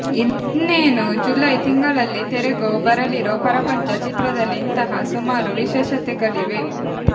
ಇನ್ನೇನೂ ಜುಲೈ ತಿಂಗಳಲ್ಲಿ ತೆರೆಗೂ ಬರಲಿರೊ ಪರಪಂಚ ಚಿತ್ರದಲ್ಲಿ ಇಂತಹ ಸುಮಾರು ವಿಶೇಷತೆಗಳಿವೆ